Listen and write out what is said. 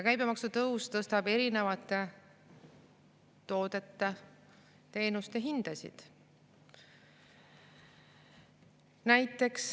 Käibemaksu tõus tõstab erinevate toodete-teenuste hindasid.